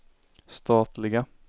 statliga